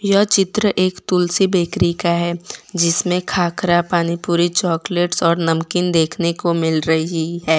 यह चित्र एक तुलसी बेकरी का है जिसमें खाकरा पानी पूरी चॉकलेट्स और नामिक देखने को मिल रही है।